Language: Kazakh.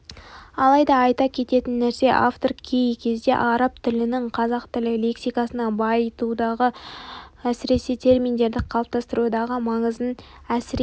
алайда айта кететін нәрсе автор кей кезде араб тілінің қазақ тілі лексикасын байытудағы әсіресе терминдерді қалыптастырудағы маңызын әсірелеп